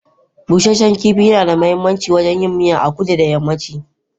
Busashen kifi nada mahimmanci wurin yin miya a kudu da yammaci.